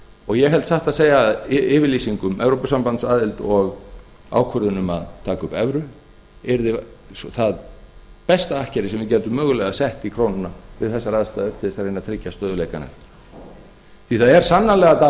og ég held satt að segja að yfirlýsing um evrópusambandsaðild og ákvörðun um að taka upp evru yrði það besta akkeri sem við gætum mögulega sett í krónuna við þessar aðstæður til að reyna að tryggja stöðugleikann á ný það er sannarlega